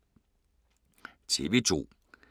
TV 2